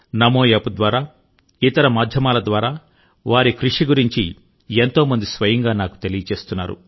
నమో app ద్వారా ఇతర మాధ్యమాల ద్వారా వారి కృషి గురించి ఎంతో మంది స్వయంగా నాకు తెలియజేస్తున్నారు